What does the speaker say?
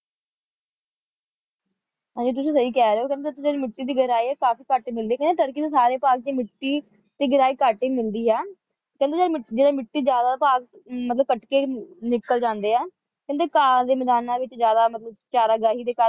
ਅੱਛਾ ਤੁਸੀਂ ਸਹੀ ਕਹਿ ਰਹੇ ਹੋ ਫੇਰ ਉੱਥੇ ਜਿਹੜੀ ਮਿੱਟੀ ਦੀ ਗਹਿਰਾਈ ਹੈ ਉਹ ਕਾਫੀ ਘੱਟ ਮਿਲਦੀ ਹੈ ਕਹਿੰਦੇ ਤੁਰਕੀ ਦੇ ਸਾਰੇ ਭਾਗ ਚ ਮਿੱਟੀ ਦੀ ਗਹਿਰਾਈ ਘੱਟ ਹੀ ਮਿਲਦੀ ਹੈ ਖਿੜੇ ਜਿਹੜੀ ਮਿੱਟੀ ਜਿਹੜੀ ਮਿੱਟੀ ਜਿਆਦਾ ਭਾਗ ਮਤਲਬ ਕੱਟ ਕੇ ਨਿੱਕਲ ਜਾਂਦੇ ਹੈਂ ਕਹਿਣੇ ਘਾਅ ਦੇ ਮੈਦਾਨਾਂ ਵਿੱਚ ਜਿਆਦਾ ਚਰਗਾਹੀ ਦੇ ਕਾਰਨ ਮਿੱਟੀ